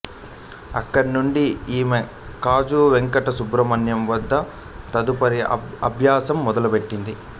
అక్కడి నుండి ఈమె కాజా వెంకట సుబ్రమణ్యం వద్ద తదుపరి అభ్యాసం మొదలు పెట్టింది